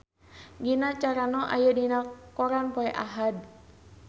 Gina Carano aya dina koran poe Ahad